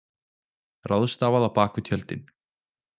Ráðstafað á bak við tjöldin